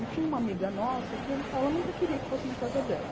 E tinha uma amiga nossa que ela nunca queria que fosse na casa dela.